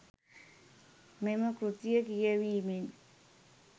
මෙම කෘතිය කියැවීමෙන්